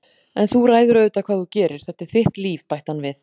En þú ræður auðvitað hvað þú gerir, þetta er þitt líf- bætti hann við.